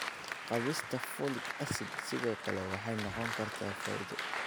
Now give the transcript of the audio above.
Kaabista Folic acid sidoo kale waxay noqon kartaa faa'iido.